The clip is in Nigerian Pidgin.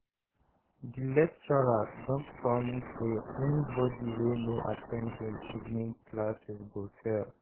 di lecturer don promise say anybody wey no at ten d him evening classes go fail